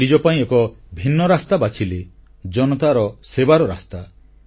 ସେ ନିଜ ପାଇଁ ଏକ ଭିନ୍ନ ରାସ୍ତା ବାଛିଲେ ଜନତାଙ୍କ ସେବାର ରାସ୍ତା